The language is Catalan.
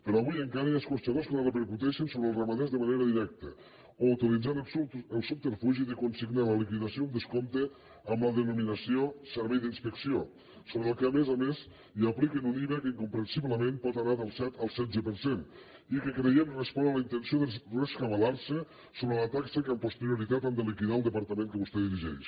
però avui encara hi ha escorxadors que la repercuteixen sobre els ramaders de manera directa o utilitzant el subterfugi de consignar en la liquidació un descompte amb la denominació servei d’inspecció sobre al qual a més a més apliquen un iva que incomprensiblement pot anar del set al setze per cent i que creiem que respon a la intenció de rescabalarse sobre la taxa que amb posterioritat han de liquidar al departament que vostè dirigeix